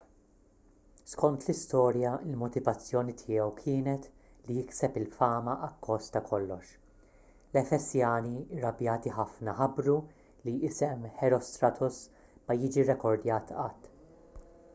skont l-istorja il-motivazzjoni tiegħu kienet li jikseb il-fama akkost ta' kollox l-efesjani irrabjati ħafna ħabbru li isem herostratus ma jiġi rrekordjat qatt